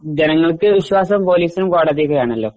ജനങ്ങൾക്ക് വിശ്വാസം പോലീസും കോടതീം ഒക്കെ ആണലോ